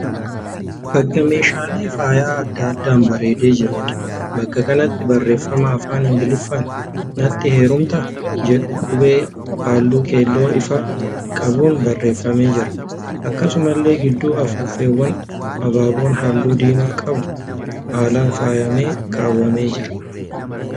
Bakka meeshaalee faayya adda addaan bareedee jiruudha. Bakka kanatti barreeffama afaan Ingiliffaan 'natti heerumtaa' jedhu qubee halluu keelloo ifaa qabuun barreeffamee jira. Akkasumallee gidduu afuuffeewwanii abaaboon halluu diimaa qabu haalaan faayyamee kaawwamee jira.